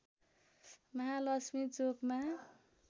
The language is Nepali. महालक्ष्मी चोकमा